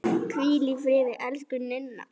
Hvíl í friði, elsku Ninna.